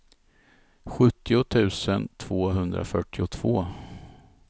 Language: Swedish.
sjuttio tusen tvåhundrafyrtiotvå